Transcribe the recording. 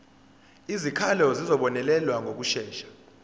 izikhalazo zizobonelelwa ngokushesha